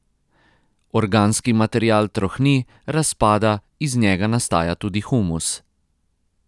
Organski material trohni, razpada, iz njega nastaja tudi humus.